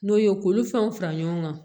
N'o ye k'olu fɛnw fara ɲɔgɔn kan